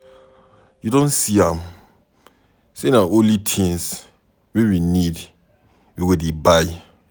You don see am sey na only tins wey we need we go dey buy.